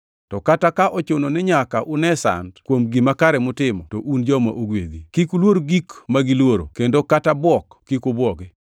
To kata ka ochuno ni nyaka une sand kuom gima kare mutimo, to un joma ogwedhi. “Kik uluor gik ma giluoro, kendo kata bwok kik ubwogi.” + 3:14 \+xt Isa 8:12\+xt*